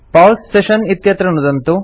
pause session इत्यत्र नुदन्तु